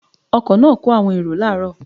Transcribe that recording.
The bus was loading passengers in the morning